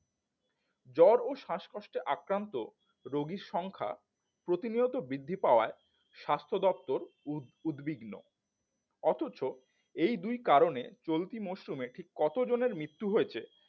জ্বরও শ্বাসকষ্টে আক্রান্ত রোগীর সংখ্যা প্রতিনিয়ত বৃদ্ধি পাওয়ায় স্বাস্থ্য দপ্তর উদ উদ্বিগ্ন অথচ এই দুই কারণে চলতি মরশুমে ঠিক কত জনের মৃত্যু হয়েছে